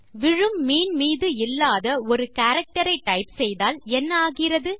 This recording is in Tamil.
விழும் மீன் மீது இல்லாத ஒரு கேரக்டர் ஐ டைப் செய்தால் என்ன ஆகிறது